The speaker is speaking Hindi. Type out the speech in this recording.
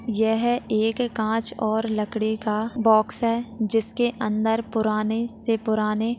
यह एक कांच और लकड़ी का बॉक्स है जिसके अंदर पुराने से पुराने--